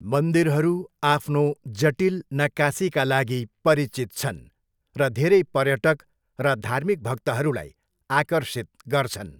मन्दिरहरू आफ्नो जटिल नक्कासीका लागि परिचित छन् र धेरै पर्यटक र धार्मिक भक्तहरूलाई आकर्षित गर्छन्।